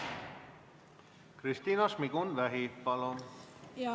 Kristina Šmigun-Vähi, palun!